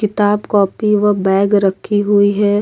किताब कॉपी व बैग रखी हुई है।